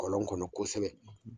Kolɔn kɔnɔ kosɛbɛ